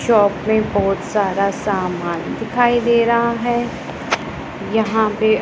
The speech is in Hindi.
शाॅप पे बहोत सारा सामान दिखाई दे रहा है यहाँ पे--